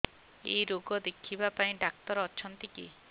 ଏଇ ରୋଗ ଦେଖିବା ପାଇଁ ଡ଼ାକ୍ତର ଅଛନ୍ତି କି